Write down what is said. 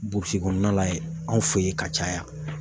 Burusi kɔnɔna la yen, anw fɛ yen ka caya.